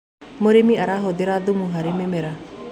Mũrĩmĩ arahũthĩra thũmũ harĩ mĩmera